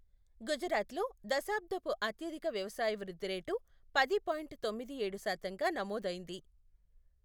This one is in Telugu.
గుజరాత్లో, దశాబ్దపు అత్యధిక వ్యవసాయ వృద్ధి రేటు పది పాయింట్ తొమ్మిది ఏడు శాతంగా నమోదైంది.